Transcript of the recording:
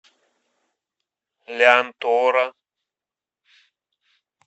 лянтора